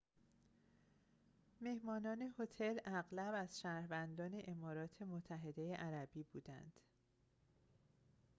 مهمانان هتل اغلب از شهروندان امارات متحده عربی بودند